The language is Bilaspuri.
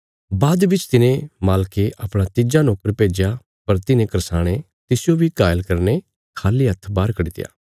बाद बिच तिने मालके अपणा तिज्जा नोकर भेज्या पर तिन्हे करसाणें तिसजो बी घायल करीने खाली हत्थ बाहर कड्डित्या